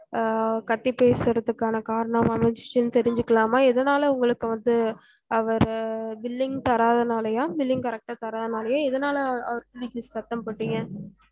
அஹ் கத்தி பேசுறதுக்கான காரணம் அமைஞ்சிச்சினு தெரிஞ்சிகிலாமா எதனால உங்களுக்கு வந்து அவரு billing தராததுனாலய billing correct டு தராததுனாலய எதுனால அவர புடிச்சு சத்தம் போட்டீங்க